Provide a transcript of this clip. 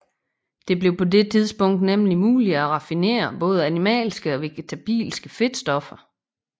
Det blev på dette tidspunkt nemlig muligt at raffinere både animalske og vegetabilske fedtstoffer